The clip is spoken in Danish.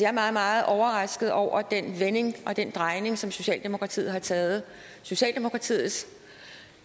er meget meget overrasket over den vending og den drejning som socialdemokratiet har taget socialdemokratiets